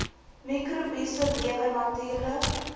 mikrobiese lewe natuurlik